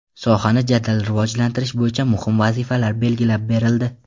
Sohani jadal rivojlantirish bo‘yicha muhim vazifalar belgilab berildi.